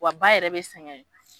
Wa ba yɛrɛ bɛ sɛgɛn